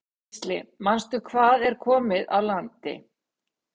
Gísli: Manstu hvað er komið á landi?